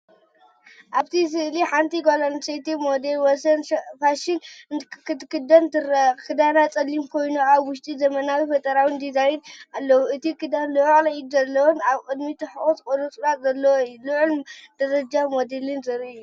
ኣብቲ ስእሊሓንቲ ጓል ኣንስተይቲ ሞዴል ኣብ ወሰን ፋሽን ክትከይድ ትርአ። ክዳና ጸሊም ኮይኑ፡ ኣብ ውሽጡ ዘመናውን ፈጠራውን ዲዛይን ኣለዎ። እቲ ክዳን ልዑል ኢድ ዘለዎን ኣብ ቅድሚት ትሑት ቁርጽራጽ ዘለዎን እዩ። ልዑል ደረጃ ሞዴልን ዘርኢ እዩ።